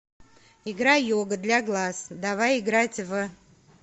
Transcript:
игра йога для глаз давай играть в